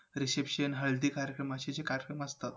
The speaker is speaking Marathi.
Reception हळदी कार्यक्रम असे जे कार्यक्रम असतात